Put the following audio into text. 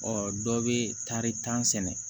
Ɔ dɔ bɛ taari tan sɛnɛ